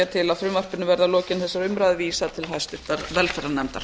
til að frumvarpinu verði að lokinni þessari umræðu vísað til hæstvirtrar velferðarnefndar